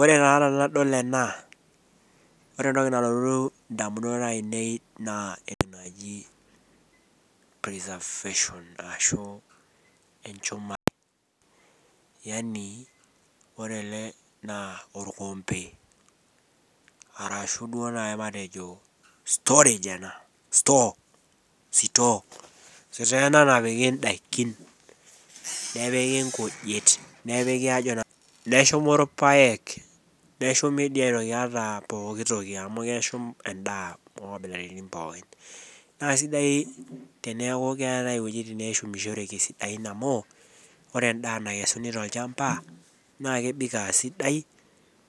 ore taa tenadol ena naa ore entoki nalotu idamunot ainei naa entoki naaji preservation ore ele naa olkompe ashuu store sitoo ena napiki idakin ashu ikujit, neshumi ilpayek neshumi dii pooki toki edaa onkabilaritin pooki, naa kisidai teneeku keetae iwejitin neshumishoreki amu ore edaa naikesuni tolchamba naa kemik aasidai,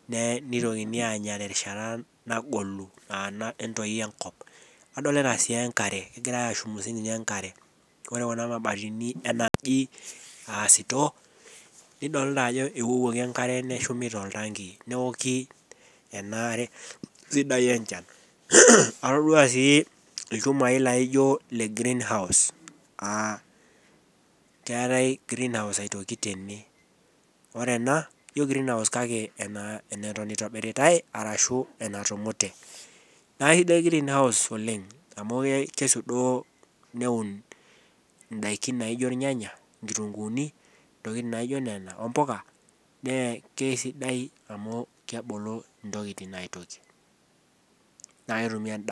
nitokini anya terishata nagolu etoyio enkop, adolita sii enkare egirai ashumu siininye enkare ore kuna mabatini enaaji aasitoo negirai awuonyi enkare neshumi toltanki enaare sidai enchan atodua sii ilchumai laijo ile green house aa keetae green house aitoki tene, eneton itobiritae ashu ena tumute naa kisidai green house oleng amu keunieki ilnyanya , inkitunguuni, intokitin naijo nena ombuka, naa kisai amu kemulu intokitin aitobiraki.